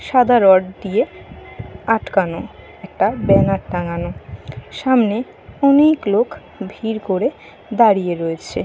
সাদা রড দিয়ে আটকানো একটা ব্যানার টাঙানো। সামনে অনেক লোক ভিড় করে দাঁড়িয়ে রয়েছে।